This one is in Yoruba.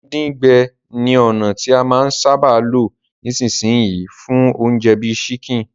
Díndín-gbẹ ni ònà ti a máa n sábà lo nisínsìn yii fún ounje bi chicken